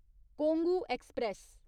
Kongu express